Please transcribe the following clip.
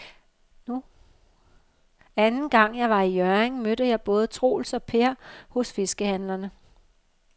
Anden gang jeg var i Hjørring, mødte jeg både Troels og Per hos fiskehandlerne.